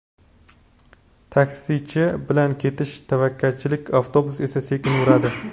Taksichi bilan ketish tavakkalchilik, avtobus esa sekin yuradi.